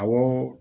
Awɔ